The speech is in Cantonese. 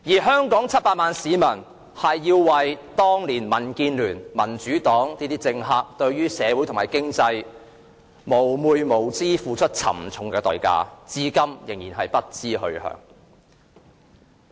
香港700萬名市民要為當年民建聯、民主黨等政客對社會和經濟的蒙昧無知付出沉重的代價，至今仍然不知去向。